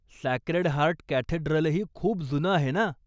Sacred heart कॅथेड्रलही खूप जुनं आहे ना?